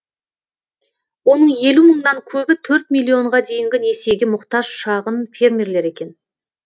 оның елу мыңнан көбі төрт миллионға дейінгі несиеге мұқтаж шағын фермерлер екен